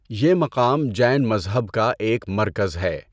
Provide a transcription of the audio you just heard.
یہ مقام جین مذہب کا ایک مرکز ہے۔